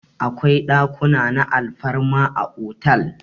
Akwai ɗakuna na alfarma a otal.